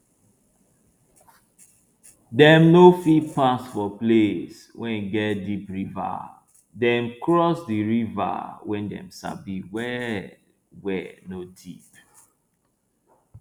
dem no fit pass for place wey get deep river dem cross the river wey dem sabi well wey no deep